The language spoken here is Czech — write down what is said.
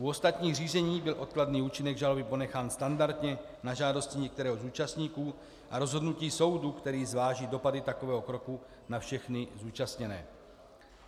U ostatních řízení byl odkladný účinek žaloby ponechán standardně na žádosti některého z účastníků a rozhodnutí soudu, který zváží dopady takového kroku na všechny zúčastněné.